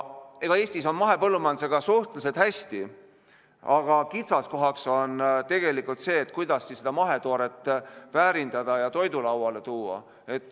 Eestis on mahepõllumajandusega suhteliselt hästi, aga kitsaskohaks on tegelikult see, kuidas seda mahetooret väärindada ja toidulauale tuua.